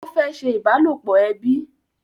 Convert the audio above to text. Ó fẹ́ ṣe ìbálòpọ̀ ẹbi